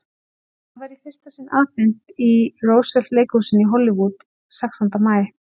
Hvað var í fyrsta sinn afhent í Roosevelt-leikhúsinu í Hollywood sextánda maí?